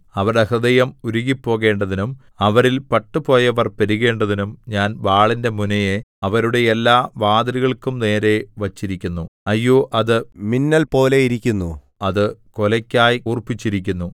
അവരുടെ ഹൃദയം ഉരുകിപ്പോകേണ്ടതിനും അവരിൽ പട്ടുപോയവർ പെരുകേണ്ടതിനും ഞാൻ വാളിന്റെ മുനയെ അവരുടെ എല്ലാ വാതിലുകൾക്കും നേരെ വച്ചിരിക്കുന്നു അയ്യോ അത് മിന്നൽപോലെയിരിക്കുന്നു അത് കൊലയ്ക്കായി കൂർപ്പിച്ചിരിക്കുന്നു